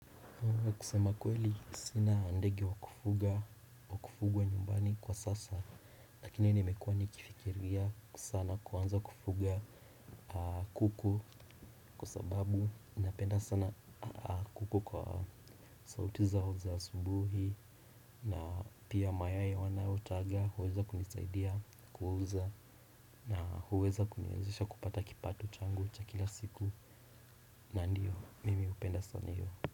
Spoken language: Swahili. Kusema kweli sina ndege wakufuga, wakufugwa nyumbani kwa sasa. Lakini nimekuwa nikifikiria sana kuanza kufuga kuku kwa sababu napenda sana kuku kwa sauti zao za asubuhi na pia mayai wanayo taga huweza kunisaidia kuuza. Na huweza kuniwezesha kupata kipato changu cha kila siku na ndio mimi hupenda sana hio.